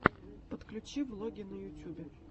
подключи влоги на ютюбе